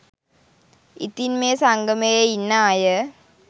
ඉතින් මේ සංගමේ ඉන්න අය